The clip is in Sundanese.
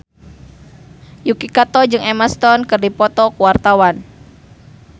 Yuki Kato jeung Emma Stone keur dipoto ku wartawan